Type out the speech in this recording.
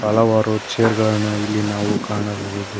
ಹಲವಾರು ಚೇರ್ ಗಳನ್ನು ಇಲ್ಲಿ ನಾವು ಕಾಣಬಹುದು.